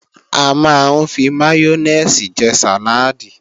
A máa ń fi máyónèsì jẹ sàláàdì